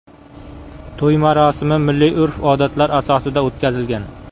To‘y marosimi milliy urf-odatlar asosida o‘tkazilgan.